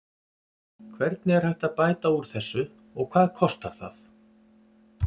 Hvernig er hægt að bæta úr þessu og hvað kostar það?